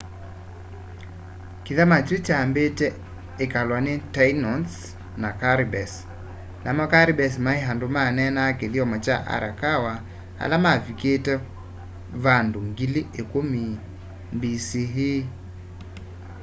kithama kyu kyambite ikalwa ni tainos na caribes namo caribes mai andu maneenaa kithyomo kya arawaka ala mavikite vandu 10,000 bce